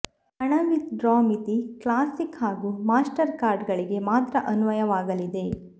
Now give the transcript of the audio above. ಹಣ withdraw ಮಿತಿ classic ಹಾಗೂ ಮಾಸ್ಟರ್ ಕಾರ್ಡ್ ಗಳಿಗೆ ಮಾತ್ರ ಅನ್ವಯವಾಗಲಿದೆ